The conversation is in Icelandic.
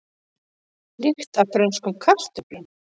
Lykt af frönskum kartöflum